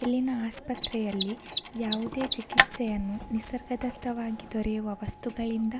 ಇಲ್ಲಿನ ಆಸ್ಪತ್ರೆಯಲ್ಲಿ ಯಾವುದೇ ಚಿಕಿತ್ಸೆಯನ್ನು ನಿಸರ್ಗದತ್ತವಾಗಿ ದೊರೆಯುವ ವಸ್ತುಗಳಿಂದ --